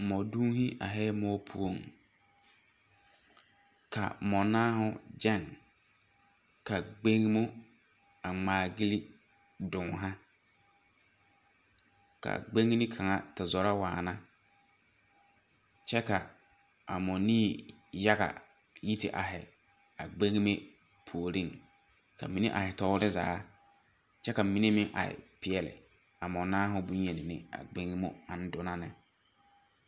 Mɔduuhi aihɛɛ moɔ poɔŋ ka mɔnaahū gyɛŋ ka gbeŋmo a ngmaagille duno ka gbeŋne kaŋa te zoro waana kyɛ ka a mɔnii yaga yi te aihi a gbeŋme puoriŋ ka mine aihi toore zaa kyɛ ka mine meŋ aihi peɛɛli a mɔnaaohū bonyeni na agbeŋmo ang dunna nē.